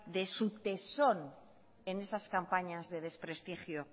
de su tesón en esas campañas de desprestigio